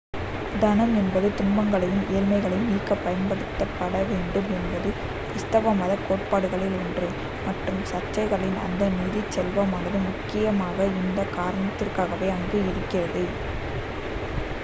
தனம் என்பது துன்பங்களையும் ஏழ்மையையும் நீக்கப் பயன்படுத்தப் படவேண்டும் என்பது கிருஸ்துவ மதக் கோட்பாடுகளில் ஒன்று1 மற்றும் சர்ச்களின் அந்த நிதிச் செல்வமானது முக்கியமாக இந்தக் காரணத்திற்காகவே அங்கு இருக்கிறது